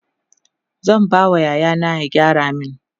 zan ba wa yaya na ya gyara min